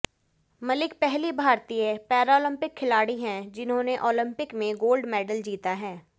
मलिक पहली भारतीय पैरालंपिक खिलाड़ी हैं जिन्होंने ओलंपिक में गोल्ड मेडल जीता है